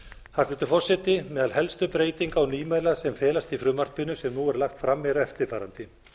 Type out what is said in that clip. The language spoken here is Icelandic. hæstvirtur forseti meðal helstu breytinga og nýmæla sem felast í frumvarpinu sem nú er lagt fram er eftirfarandi